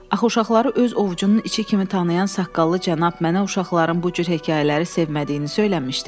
"Axı uşaqları öz ovcunun içi kimi tanıyan saqqallı cənab mənə uşaqların bu cür hekayələri sevmədiyini söyləmişdi."